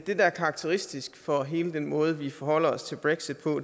er karakteristisk for hele den måde vi forholder os til brexit på